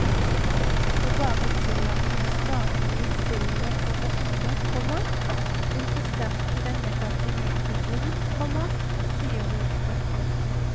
Å bare tillate de statlige spillene å vokse, komma vil forsterke den negative utviklingen, komma sier hun. punktum